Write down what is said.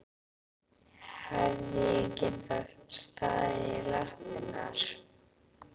Hefði ég getað staðið í lappirnar?